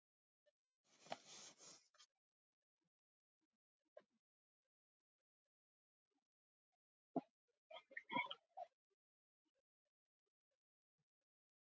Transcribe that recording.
Hann hló eins og aðrir við borðið.